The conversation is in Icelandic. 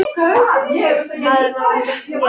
Maður má ekkert gera.